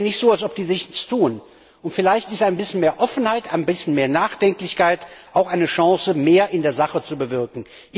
Es ist ja nicht so, als ob die nichts tun. Vielleicht ist ein bisschen mehr Offenheit, ein bisschen mehr Nachdenklichkeit auch eine Chance, mehr in der Sache zu bewirken.